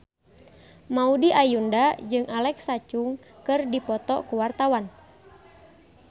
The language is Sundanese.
Maudy Ayunda jeung Alexa Chung keur dipoto ku wartawan